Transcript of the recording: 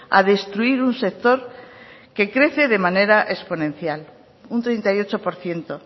a destruir un sector que crece de manera exponencial un treinta y ocho por ciento